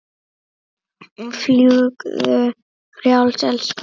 Fljúgðu frjáls, elsku vinur.